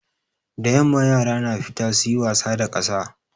Da yamma yara na fita suyi wasa da ƙasa.